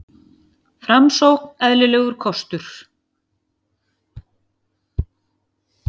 Framsókn eðlilegur kostur